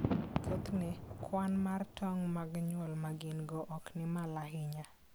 Thothne, kwan mar tong' mag nyuol ma gin-go ok ni malo ahinya.